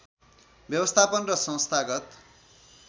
व्यवस्थापन र संस्थागत